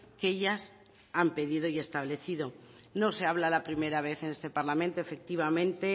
que ellas han pedido y establecido no se habla la primera vez en este parlamento efectivamente